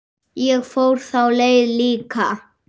Ég fór þá leið líka.